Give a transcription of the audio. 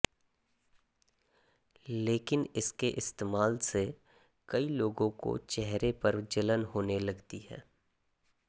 लेकिन इसके इस्तेमाल से कई लोगों को चेहरे पर जलन होने लगती है